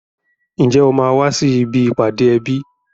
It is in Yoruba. Ǹjẹ́ o máa wá sí ibi ìpàdé ẹbí?